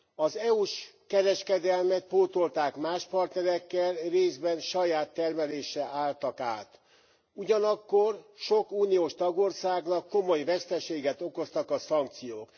Az EU s kereskedelmet pótolták más partnerekkel, részben saját termelésre álltak át, ugyanakkor sok uniós tagországnak komoly veszteséget okoztak a szankciók.